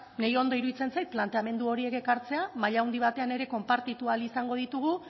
nire ondo iruditzen zait planteamendu horiek ekartzea maila handi batean ere konpartitu ahal izango ditugu